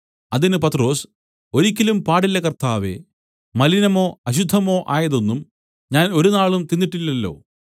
അതിന് പത്രൊസ് ഒരിക്കലും പാടില്ല കർത്താവേ മലിനമോ അശുദ്ധമോ ആയതൊന്നും ഞാൻ ഒരുനാളും തിന്നിട്ടില്ലല്ലോ